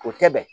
O tɛ bɛn